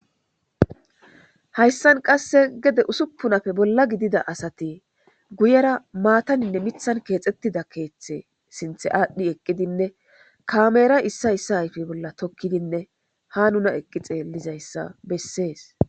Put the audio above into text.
hayssan qasse gede usuppunafe bolla gidida asati guyera maataninne mithan keexxettida keeththe sinthe aadhdhi eqqidinne kameera issa issa hayfe bolla tokkidinne ha nuna eqqi xeellizayssa bessees